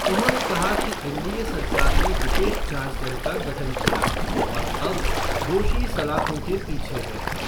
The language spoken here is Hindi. उन्होंने कहा कि एनडीए सरकार ने विशेष जाँच दल का गठन किया और अब दोषी सलाखों के पीछे है।